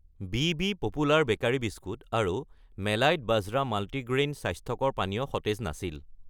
বিবি popular bakery biscuit আৰু মেলাইট বাজৰা মাল্টিগ্ৰেইন স্বাস্থ্যকৰ পানীয় সতেজ নাছিল।